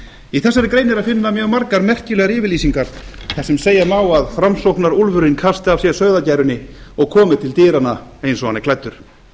í þessari grein er að finna mjög margar merkilegar yfirlýsingar þar sem segja má að framsóknarúlfurinn kasti af sér sauðagærunni og komi til dyranna eins og hann er klæddur